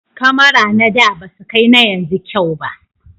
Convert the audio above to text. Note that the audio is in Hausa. kamara na da basu kai na yanzu kyau ba